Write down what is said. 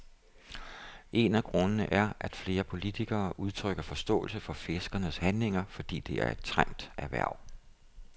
En af grundene er, at flere politikere udtrykker forståelse for fiskernes handlinger, fordi det er et trængt erhverv.